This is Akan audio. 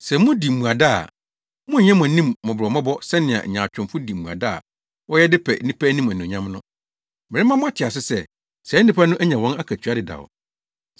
“Sɛ mudi mmuada a, monnyɛ mo anim mmɔbɔmmɔbɔ sɛnea nyaatwomfo di mmuada a wɔyɛ de pɛ nnipa anim anuonyam no. Merema mo ate ase sɛ, saa nnipa no anya wɔn akatua dedaw.